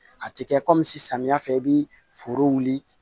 A tɛ kɛ kɔmi samiya fɛ i bɛ foro wuli